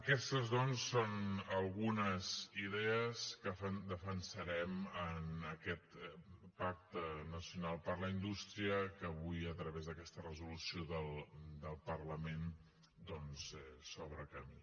aquestes doncs són algunes idees que defensarem en aquest pacte nacional per a la indústria que avui a través d’aquesta resolució del parlament s’obre camí